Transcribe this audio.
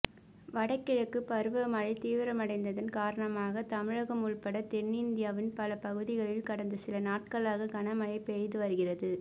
வடகிழக்கு பருவமழை தீவிரமடைந்ததன் காரணமாக தமிழகம் உள்பட தென்னிந்தியாவின் பல பகுதிகளில் கடந்த சில நாட்களாக கனமழை பெய்து வருகிறது